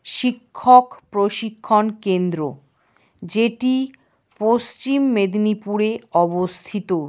শিক্ষক প্রশিক্ষণ কেন্দ্র যেটি পশ্চিম মেদিনীপুরে অবস্থিত।